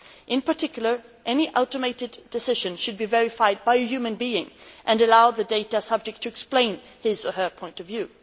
In particular, any automated decision should be verified by a human being and allow the data subject to explain his or her point of view.